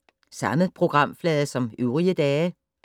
Samme programflade som øvrige dage